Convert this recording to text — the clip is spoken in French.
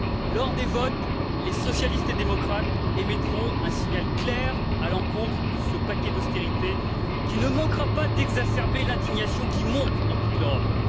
Lors des votes, les socialistes et démocrates émettront un signal clair à l'encontre de ce paquet d'austérité, qui ne manquera pas d'exacerber l'indignation qui monte dans toute l'Europe.